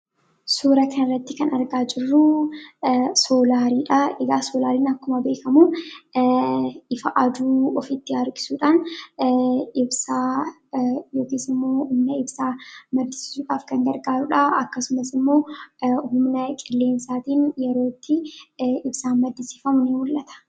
Suura kana irratti kan argaa jirruu, soolariidha. Soolariin akkuma beekamu ifa aduu ofitti harkisuudhaan ibsaa yookiis immoo humna ibsaa maddisiisuudhaaf kan gargaarudhaa akkasumas immoo humna qilleensaatiin yeroo itti ibsaan maddisiifamu ni mul'ata.